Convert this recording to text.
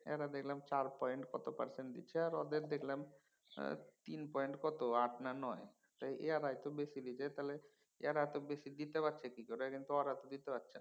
এরা দেখলাম চার point কত percent দিচ্ছে আর ওদের দেখলাম কত তিন point আট না নয়। তো এয়ারাই তো বেশি দিছে তাহলে। এঁরা এত বেশি দিতে পারছে কি করে কিন্তু ওরা তো দিতে পারছেনা।